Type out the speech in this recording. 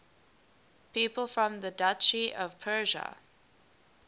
people from the duchy of prussia